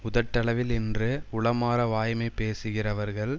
உதட்டளவில் இன்றி உளமார வாய்மை பேசுகிறவர்கள்